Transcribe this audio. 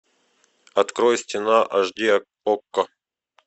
открой стена аш ди окко